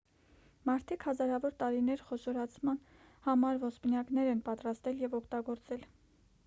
մարդիկ հազարավոր տարիներ խոշորացման համար ոսպնյակներ են պատրաստել և օգտագործել